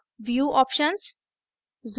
view options